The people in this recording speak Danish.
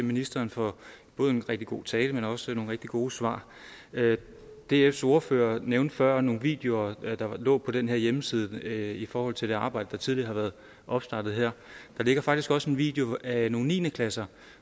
ministeren for både en rigtig god tale men også nogle rigtig gode svar dfs ordfører nævnte før nogle videoer der lå på den her hjemmeside i forhold til det arbejde der tidligere har været opstartet her der ligger faktisk også en video af nogle niende klasser